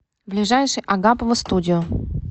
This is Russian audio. ближайший агапова студио